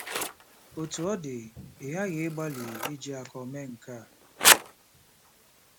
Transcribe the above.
Otú ọ dị, ị ghaghị ịgbalị iji akọ mee nke a.